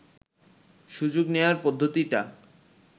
সুযোগ নেয়ার পদ্ধতিটা